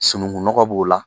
Sunukunnɔgɔ b'o la